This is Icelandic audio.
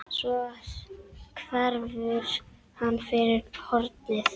Svo hverfur hann fyrir hornið.